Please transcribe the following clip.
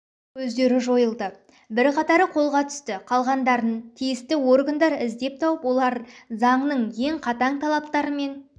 көздері жойылды бірқатары қолға түсті қалғандарын тиісті органдар іздеп тауып олар заңның ең қатаң талаптарымен